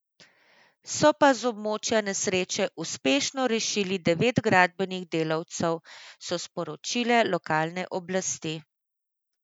So pa z območja nesreče uspešno rešili devet gradbenih delavcev, so sporočile lokalne oblasti.